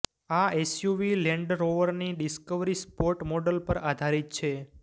આ એસયુવી લેન્ડરોવરની Discovery Sport model પર આધારિત છે